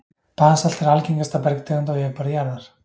basalt er algengasta bergtegund á yfirborði jarðar